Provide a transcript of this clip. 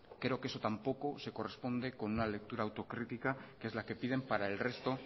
creo que eso tampoco se corresponde con una lectura autocrítica que es la que piden para el resto